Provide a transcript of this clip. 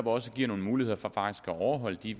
også giver nogle muligheder for at overholde de